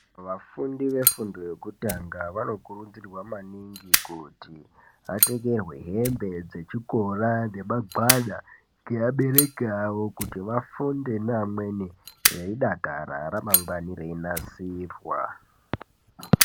Vafundi vefundo yekutanga vanokurudzirwa maningi kuti, vatengerwe hembe dzechikora nemagwada, kuti vafunde neamweni veidakara, ramangwani reinasirwa.